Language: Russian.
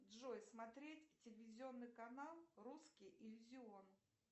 джой смотреть телевизионный канал русский иллюзион